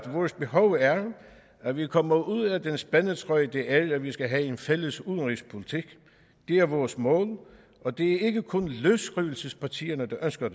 vores behov er at vi kommer ud af den spændetrøje det er at vi skal have en fælles udenrigspolitik det er vores mål og det er ikke kun løsrivelsespartierne der ønsker